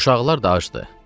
Uşaqlar da acdı.